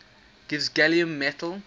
gives gallium metal